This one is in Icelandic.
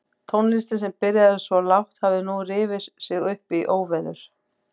Tónlistin sem byrjaði svo lágt hafði nú rifið sig upp í óveður.